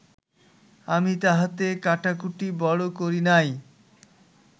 আমি তাহাতে কাটাকুটি বড় করি নাই